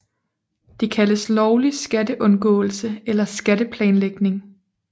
Det kaldes lovlig skatteundgåelse eller skatteplanlægning